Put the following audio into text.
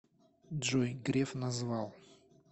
джой греф назвал